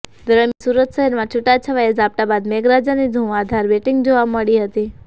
દરમ્યાન સુરત શહેરમાં છુટાછવાયા ઝાપટા બાદ મેઘરાજાની ધુવાંધાર બેટિંગ જોવા મળી હતી